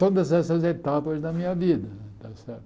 Todas essas etapas da minha vida